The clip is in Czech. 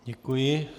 Děkuji.